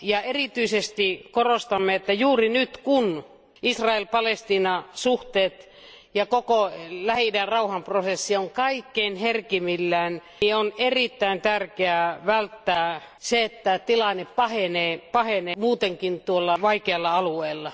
Erityisesti korostamme, että juuri nyt kun Israel Palestiina suhteet ja koko Lähi idän rauhanprosessi on kaikkein herkimmillään, on erittäin tärkeää välttää se, että tilanne pahenee tuolla muutenkin vaikealla alueella.